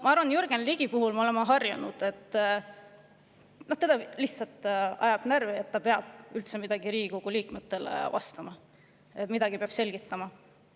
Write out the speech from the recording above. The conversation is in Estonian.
Ma arvan, et Jürgen Ligi puhul me oleme sellega harjunud – no teda lihtsalt ajab närvi, et ta peab üldse Riigikogu liikmetele vastama ja neile midagi selgitama.